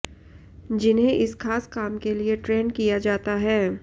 जिन्हें इस खास काम के लिए ट्रेंड किया जाता है